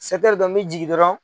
dɔn n mɛ jigin dɔrɔn